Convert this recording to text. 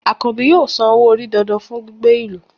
Akanbi yóò sán ọwọ́-orí dándán fún gbígbé ilù